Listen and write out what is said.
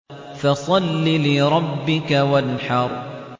فَصَلِّ لِرَبِّكَ وَانْحَرْ